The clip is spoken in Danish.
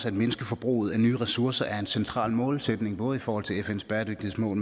at mindske forbruget af nye ressourcer er en central målsætning både i forhold til fns bæredygtighedsmål